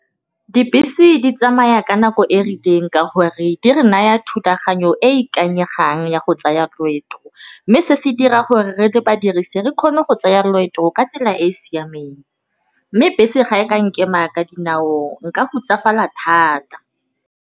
Dibese di tsamaya ka nako e rileng ka gore di re naya thulaganyo e e ikanyegang ya go tsaya loeto, mme se se dira gore re le badirisi re kgone go tsaya loeto ka tsela e siameng mme bese ga e ka nkema ka dinao nka gotsafala thata.